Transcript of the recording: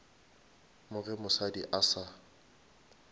mo ge mosadi a sa